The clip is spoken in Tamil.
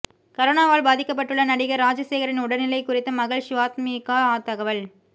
கரோனாவால் பாதிக்கப்பட்டுள்ள நடிகர் ராஜசேகரின் உடல்நிலை குறித்து மகள் ஷிவாத்மிகா தகவல்